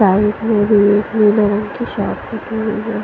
tie नीले रंग की शर्ट--